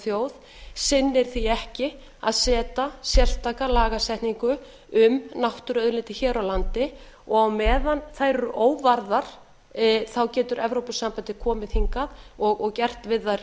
þjóð sinnir því ekki að setja sérstaka lagasetningu um náttúruauðlindir hér á landi og á meðan þær eru óvarðar getur evrópusambandið komið hingað og gert við þær